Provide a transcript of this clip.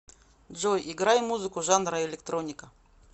джой играй музыку жанра электроника